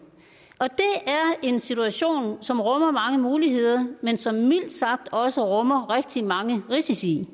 det er en situation som rummer mange muligheder men som mildt sagt også rummer rigtig mange risici